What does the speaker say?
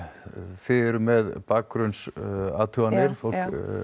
þið eruð með bakgrunnsathuganir fólk